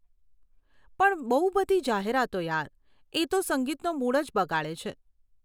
પણ બહુ બધી જાહેરાતો યાર, એ તો સંગીતનો મૂડ જ બગાડે છે.